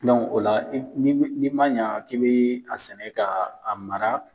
o la n'i ma ɲa k'i be a sɛnɛ ka a mara